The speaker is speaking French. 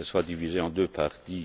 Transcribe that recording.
soit divisée en deux parties